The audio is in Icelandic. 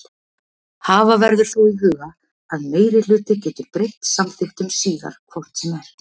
Hafa verður þó í huga að meirihluti getur breytt samþykktum síðar hvort sem er.